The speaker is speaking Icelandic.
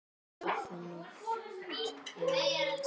Góða nótt, Thomas